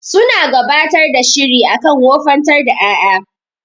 Suna gabatar da shiri akan wofantar da ƴaƴa.